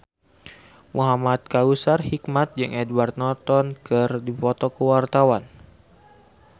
Muhamad Kautsar Hikmat jeung Edward Norton keur dipoto ku wartawan